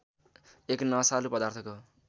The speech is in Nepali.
एक नशालु पदार्थको